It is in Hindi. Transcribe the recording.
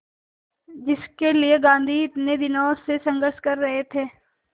जिसके लिए गांधी इतने दिनों से संघर्ष कर रहे थे